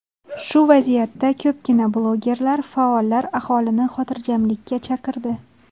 Shu vaziyatda ko‘pgina blogerlar, faollar aholini xotirjamlikka chaqirdi.